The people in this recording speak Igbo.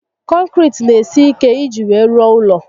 Konkiriti n'esi ike iji wee rụọ ụlọ